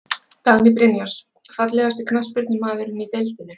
Dagný Brynjars Fallegasti knattspyrnumaðurinn í deildinni?